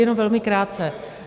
Jenom velmi krátce.